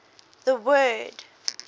the word